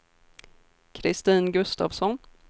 Kristin Gustafsson